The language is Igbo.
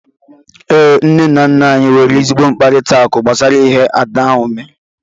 Ee, nne na nna anyị nwere ezigbo mkparịtaụka gbasara ihe ahụ Ada mere.